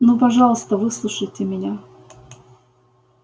ну пожалуйста выслушайте меня